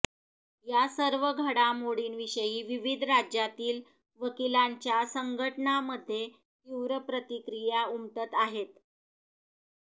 या सर्व घडामोडींविषयी विविध राज्यांतील वकिलांच्या संघटनांमध्ये तीव्र प्रतिक्रिया उमटत आहेत